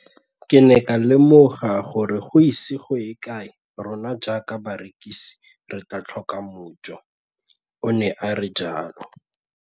Ke ne ka lemoga gore go ise go ye kae rona jaaka barekise re tla tlhoka mojo, o ne a re jalo.